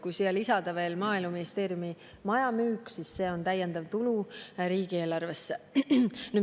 Kui siia lisada veel Maaeluministeeriumi maja müük, siis seegi on täiendav tulu riigieelarvesse.